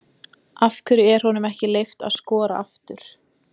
Af hverju er honum ekki leyft að skora aftur?